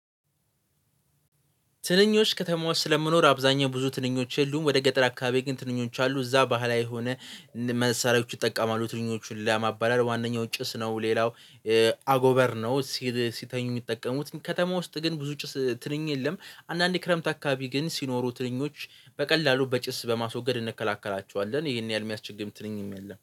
ትንኞች ከተማዎች ስለምኖር አብዛኛው ብዙ ትንኞች የሉም ወደ ገጠር አካባቢ ግን ትንኞች አሉ እዛ ባህላ የሆነ መሳሪያዎቹ ይጠቀማሉ ትንኞቹን ለማባረር ዋናው ጭስ ነው። ሌላው አጎበር ነው። ሲተኙ የሚጠቀሙት ከተማ ውስጥ ግን ብዙ ጭስ ትንኝ የለም። አንዳንዴ ክረምት አካባቢ ግን ሲኖሩ ትንኞች በቀላሉ በጭስ በማስወገድ እንከላከላቸዋለን። ይሄን ያህል የሚያስቸግም ትንኝ የለም